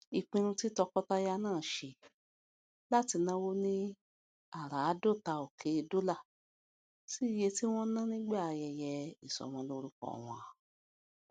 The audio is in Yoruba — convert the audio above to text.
ìpinnu tí tọkọtaya náà ṣe láti náwó ní àràádóta òké dólà sí iye tí wón ná nígbà ayẹyẹ ìsọmọlórúkọ wọn